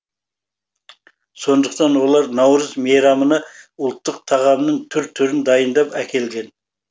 сондықтан олар наурыз мейрамына ұлттық тағамның түр түрін дайындап әкелген